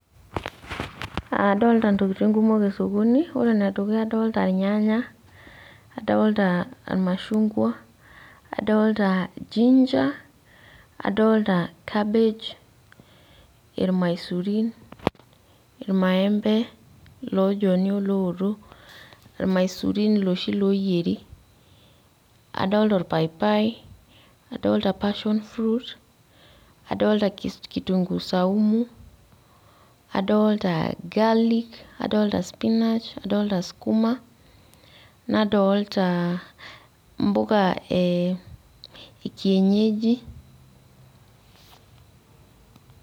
adoolta ntokitin kumok esokoni ore ene dukuya adoolta irnyanya, adoolta irmashungua, adoolta ginger adoolta cabbage irmaisurin, irmaembe, iloojoni olooto. ilmaisurin iloshi looyieri. adoolta orpaipai adoolta passion fruit. adoolta kitunguu saumu adoolta garlic. adoolta skuma nadoolta mpuka e kienyeji.